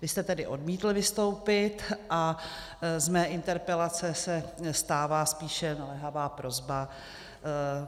Vy jste tedy odmítl vystoupit a z mé interpelace se stává spíše naléhavá prosba.